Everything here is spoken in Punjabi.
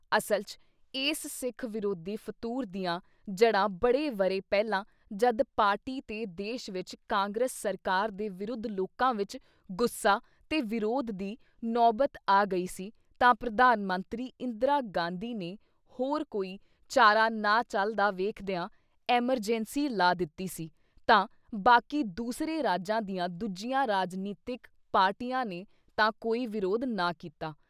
ਅਸਲ ‘ਚ ਇਸ ਸਿੱਖ ਵਿਰੋਧੀ ਫਤੂਰ ਦੀਆਂ ਜੜ੍ਹਾਂ ਬੜੇ ਵਰ੍ਹੇ ਪਹਿਲਾਂ ਜਦ ਪਾਰਟੀ ਤੇ ਦੇਸ਼ ਵਿੱਚ ਕਾਂਗਰਸ ਸਰਕਾਰ ਦੇ ਵਿਰੁੱਧ ਲੋਕਾਂ ਵਿੱਚ ਗੁੱਸਾ ਤੇ ਵਿਰੋਧ ਦੀ ਨੌਬਤ ਆ ਗਈ ਸੀ ਤਾਂ ਪ੍ਰਧਾਨ ਮੰਤਰੀ ਇੰਦਰਾ ਗਾਂਧੀ ਨੇ ਹੋਰ ਕੋਈ ਚਾਰਾ ਨਾ ਚੱਲਦਾ ਵੇਖਦਿਆਂ ਐਮਰਜੈਂਸੀ ਲਾ ਦਿੱਤੀ ਸੀ ਤਾਂ ਬਾਕੀ ਦੂਸਰੇ ਰਾਜਾਂ ਦੀਆਂ ਦੂਜੀਆਂ ਰਾਜਨੀਤਿਕ ਪਾਰਟੀਆਂ ਨੇ ਤਾਂ ਕੋਈ ਵਿਰੋਧ ਨਾ ਕੀਤਾ।